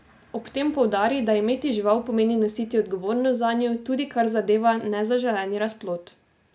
Ob tem poudari, da imeti žival pomeni nositi odgovornost zanjo, tudi kar zadeva nezaželeni razplod.